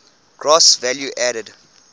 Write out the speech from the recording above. gross value added